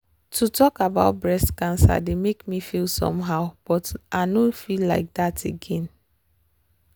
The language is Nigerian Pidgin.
to talk about breast cancer dey make me feel somehow but i nor feel like that again.